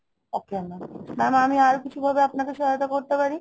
okay mam, mam আমি আরো কিছু ভাবে আপনাকে সহায়তা করতে পারি?